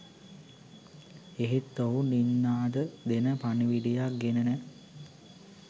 එහෙත් ඔහු නින්නාද දෙන පණිවිඩයක් ගෙනෙන